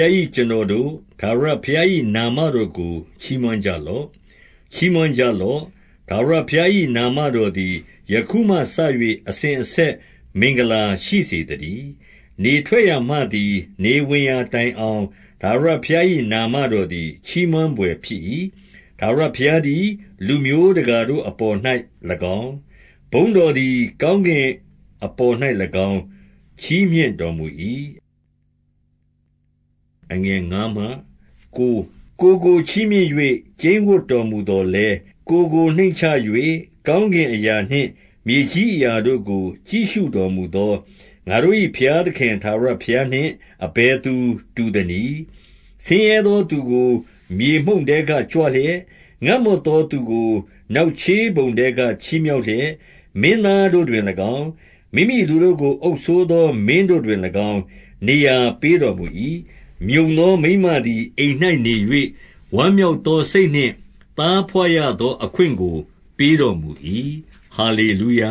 ား၏ ကျွန်တော်တို့၊ ထာဝရဘုရား ၏နာမတော်ကို ချီးမွမ်းကြလော့။ ချီးမွမ်းကြလော့။ 2 ထာဝရဘုရား၏ နာမတော်သည် ယခုမှစ၍၊ အစဉ်အဆက် မင်္ဂလာရှိစေသတည်း။ 3 နေထွက်ရာမှသည် နေဝင်ရာတိုင်အောင်၊ ထာဝရဘုရား၏နာမတော်သည် ချီးမွမ်းဘွယ်ဖြစ်၏။ 4 ထာဝရဘုရားသည် လူမျိုးတကာတို့ အပေါ်၌၎င်း၊ ဘုန်းတော်သည် ကောင်းကင်အပေါ်၌၎င်း မြင့်တော်မူ၏။ 5 ကိုယ်ကို ချီးမြှင့်၍ ကျိန်းဝပ်တော်မူသော်လည်း၊ 6 ကိုယ်ကိုနှိမ့်ချ၍ ကောင်းကင်အရာနှင့် မြေကြီး အရာတို့ကို ကြည့်ရှုတော်မူသော ငါတို့၏ ဘုရားသခင် ထာဝရဘုရားနှင့် အဘယ်သူ တူသနည်း။ 7 ဆင်းရဲသောသူကို မြေမှုန့်ထဲကကြွလျက်၊ ငတ်မွတ်သော သူကို နောက်ချေးပုံထဲက ချီးမြှောက်လျက်၊ 8 မင်းသားတို့တွင်၎င်း၊ မိမိလူတို့ကို အုပ်စိုးသော မင်းတို့တွင်၎င်း နေရာပေးတော်မူ၏။ 9 မြုံနေသောမိန်းမသည် အိမ်၌နေ၍၊ဝမ်းမြောက် သောစိတ်နှင့် သားဘွားရသော အခွင့်ကို ပေးတော်မူ၏။ ဟာလေလုယ